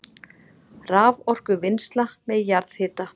Raforkuvinnsla með jarðhita